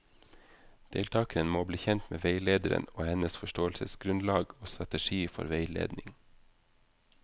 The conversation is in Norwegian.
Deltakerne må bli kjent med veilederen og hennes forståelsesgrunnlag og strategi for veiledning.